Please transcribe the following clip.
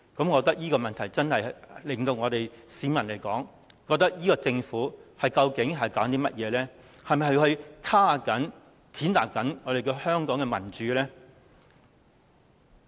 我認為這做法真的令市民質疑政府究竟在搞甚麼，是否在抑壓、踐踏香港的民主呢？